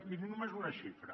miri només una xifra